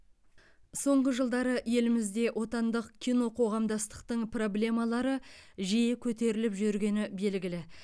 соңғы жылдары елімізде отандық киноқоғамдастықтың проблемалары жиі көтеріліп жүргені белгілі